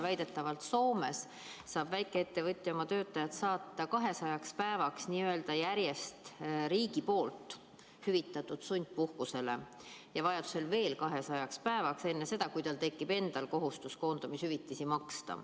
Väidetavalt Soomes saab väikeettevõtja oma töötajad saata 200 päevaks järjest riigi poolt hüvitatud sundpuhkusele ja vajadusel veel 200 päevaks, enne seda, kui tal tekib endal kohustus koondamishüvitisi maksta.